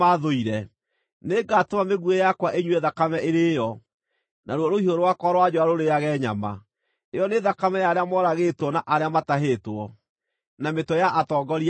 Nĩngatũma mĩguĩ yakwa ĩnyue thakame ĩrĩĩo, Naruo rũhiũ rwakwa rwa njora rũrĩage nyama: ĩyo nĩ thakame ya arĩa moragĩtwo na arĩa matahĩtwo, na mĩtwe ya atongoria a thũ.”